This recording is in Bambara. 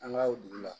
An ka o dugu la